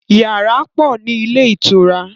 Yàrá pọ̀ ni ilé ìtura.